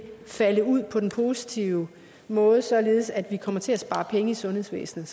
falde ud på den positive måde således at vi kommer til at spare penge i sundhedsvæsenet